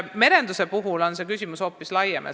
Merenduse puhul on küsimus hoopis laiem.